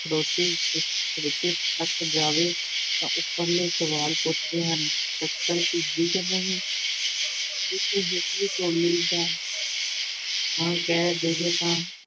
ਖੜੋਤੀ-ਖੜੋਤੀ ਥੱਕ ਜਾਵੇ ਤਾਂ ਉੱਪਰਲੇ ਸਵਾਲ ਪੁੱਛਦੇ ਹਨ, ਸੱਕਰ ਭਿੱਜੀ ਕਿ ਨਹੀਂ? ਜੇਕਰ ਹੇਠਲੀ ਟੋਲੀ ਹਾਂ ਹਾਂ ਕਹਿ ਦੇਵੇ ਤਾਂ